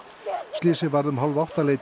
slysið varð um